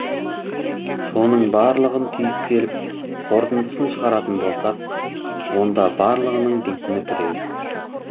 соның барлығын түйіп келіп қорытындысын шығаратын болсақ онда барлығының дейтіні біреу